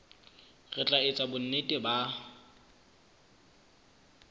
re tla etsa bonnete ba